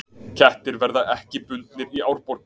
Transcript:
Kettir verði ekki bundnir í Árborg